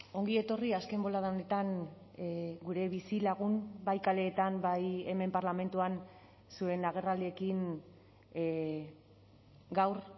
ongi etorri azken bolada honetan gure bizilagun bai kaleetan bai hemen parlamentuan zuen agerraldiekin gaur